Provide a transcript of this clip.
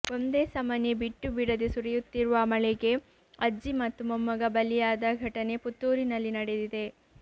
ಒಂದೇ ಸಮನೆ ಬಿಟ್ಟು ಬಿಡದೆ ಸುರಿಯುತ್ತಿರುವ ಮಳೆಗೆ ಅಜ್ಜಿ ಮತ್ತು ಮೊಮ್ಮಗ ಬಲಿಯಾದ ಘಟನೆ ಪುತ್ತೂರಿನಲ್ಲಿ ನಡೆದಿದೆ